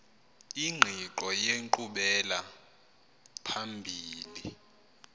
ingqiqo yenkqubela phambili